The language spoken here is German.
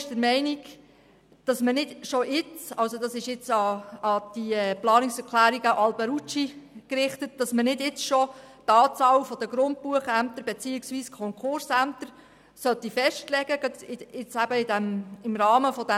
Zu den Planungserklärungen von Grossrat Alberucci: Die EVP ist der Meinung, man solle nicht schon jetzt im Rahmen dieses Sparpakets die Anzahl der Grundbuchämter beziehungsweise der Betreibungs- und Konkursämter festlegen.